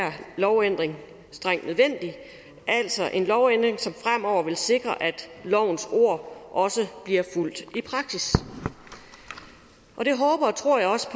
lovændring strengt nødvendig altså en lovændring som fremover vil sikre at lovens ord også bliver fulgt i praksis og det håber og tror jeg også